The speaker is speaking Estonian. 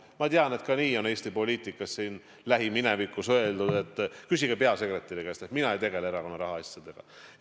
Ma tean, et ka nii on Eesti poliitikas lähiminevikus öeldud, et küsige peasekretäri käest, mina ei tegele erakonna rahaasjadega.